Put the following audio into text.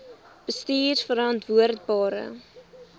bestuurverantwoordbare